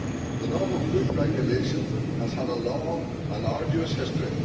The Novel Foods Regulation has had a long and arduous history.